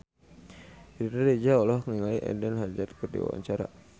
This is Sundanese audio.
Riri Reza olohok ningali Eden Hazard keur diwawancara